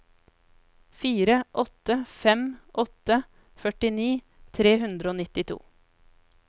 fire åtte fem åtte førtini tre hundre og nittito